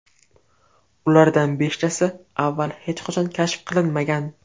Ulardan beshtasi avval hech qachon kashf qilinmagan!